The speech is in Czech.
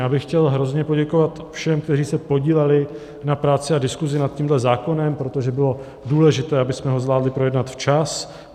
Já bych chtěl hrozně poděkovat všem, kteří se podíleli na práci a diskusi nad tímto zákonem, protože bylo důležité, abychom ho zvládli projednat včas.